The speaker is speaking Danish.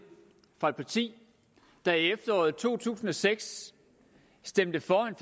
fra et parti der i efteråret to tusind og seks stemte for en